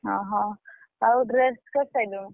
ଓହୋ! ଆଉ dress କରିସାଇଲୁଣି?